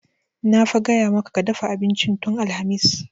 Na fa gaya maka ka dafa abincin tun alhamis!